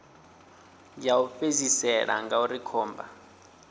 ya u fhedzisela ngauri khomba